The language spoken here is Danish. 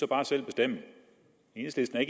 bare selv bestemme enhedslisten er